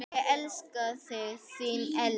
Ég elska þig, þín Elva.